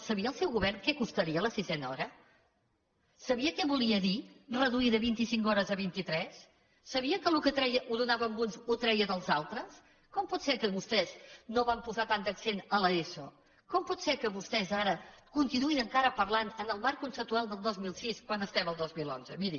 sabia el seu govern què costaria la sisena hora sabia què volia dir reduir de vint i cinc hores a vint i tres sabia que el que tre ia ho donava amb uns i que ho treia dels altres com pot ser que vostès no van posar tant d’accent a l’eso com pot ser que vostès ara continuïn encara parlant en el marc conceptual del dos mil sis quan som al dos mil onze miri